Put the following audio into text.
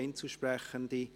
Einzelsprechende